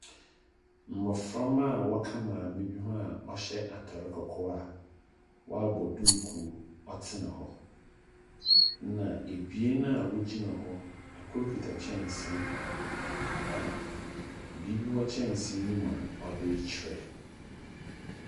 Mmoframa a wɔka maame bi ho a wɔhyɛ atare kɔkɔɔ a woabɔ duku ɔtena hɔ. Ɛna abien a wogyina hɔ. Ɛkoro kita kyɛnsee a biribi wɔ kyɛnse mu a ɔde kyerɛ.